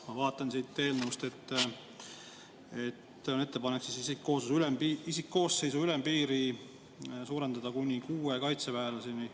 Ma vaatan siit eelnõust, et on ettepanek isikkooseisu ülempiiri suurendada kuni kuue kaitseväelaseni.